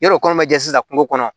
Yɔrɔ kɔnɔ ma jɛ sisan kungo kɔnɔ